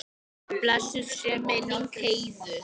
Blessuð sé minning Heiðu.